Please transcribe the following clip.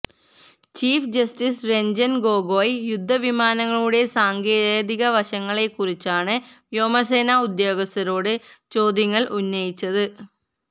chief justice Ranjan Gogoi യുദ്ധവിമാനങ്ങളുടെ സാങ്കേതിക വശങ്ങളെകുറിച്ചാണ് വ്യോമസേന ഉദ്യോഗസ്ഥരോട് ചോദ്യങ്ങള് ഉന്നയിച്ചത്